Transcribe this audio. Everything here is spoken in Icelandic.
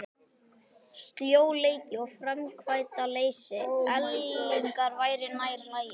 Sljóleiki og framkvæmdaleysi ellinnar væri nær lagi.